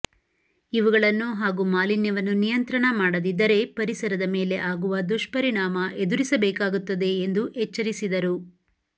ಇವುಗಳನ್ನು ಹಾಗೂ ಮಾಲಿನ್ಯವನ್ನು ನಿಯಂತ್ರಣ ಮಾಡದಿದ್ದರೆ ಪರಿಸರದ ಮೇಲೆ ಆಗುವ ದುಷ್ಪರಿಣಾಮ ಎದುರಿಸಬೇಕಾಗುತ್ತದೆ ಎಂದು ಎಚ್ಚರಿಸಿದರು